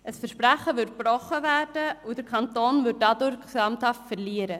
Ein Versprechen würde damit gebrochen, und der Kanton würde dadurch gesamthaft verlieren.